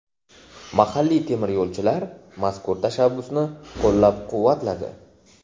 Mahalliy temiryo‘lchilar mazkur tashabbusni qo‘llab-quvvatladi.